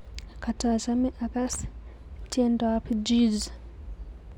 Katachome akass tiendoab Jizz